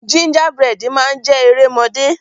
Gingerbread Man jé erémọdé.